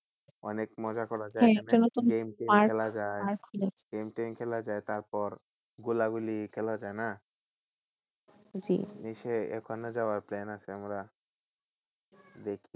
অনেক মজা করার game টেম খেলা যায় তারপর গোলাগোলি খেলা যায় না ওখানে যাওয়ার plan আছে আমরা যে